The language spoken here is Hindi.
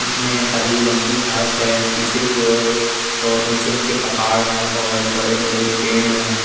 इसमें हरी रंग की घास हैं। पीछे की ओर बोहोत ऊंचे-ऊंचे पहाड़ है और बड़े-बड़े पेड़ हैं।